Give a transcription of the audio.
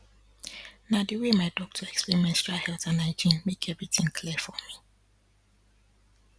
na the way my doctor explain menstrual health and hygiene make everything clear for me